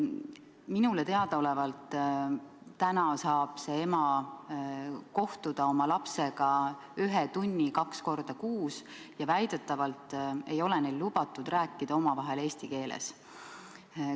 Minule teadaolevalt saab täna see ema kohtuda oma lapsega ühe tunni kaks korda kuus ja väidetavalt ei ole neil lubatud rääkida omavahel eesti keeles.